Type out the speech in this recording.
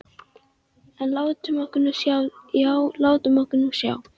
En látum okkur nú sjá, já, látum okkur nú sjá.